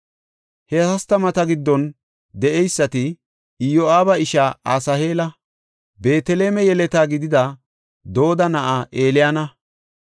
He hastamata giddon de7eysati, Iyo7aaba ishaa Asaheela, Beeteleme yeleta gidida Dooda na7aa Eliyaana,